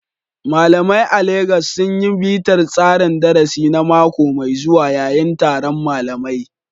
Malamai a Legas sun yi bitar tsarin darasi na mako mai zuwa yayin taron malamai.